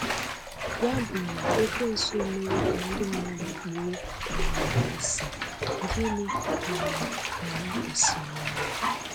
Ya bụ na Ekwensu emewo ka ndị mmadụ kpuo um isi, gịnị um ka anyị kwesịrị ime?